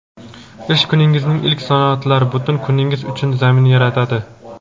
ish kuningizning ilk soatlari butun kuningiz uchun zamin yaratadi.